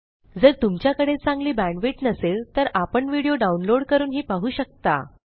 जर तुमच्याकडे चांगली बॅंडविड्त नसेल तर आपण व्हिडिओ डाउनलोड करूनही पाहू शकता